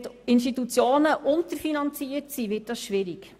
Wenn die Institutionen unterfinanziert sind, wird dies schwierig.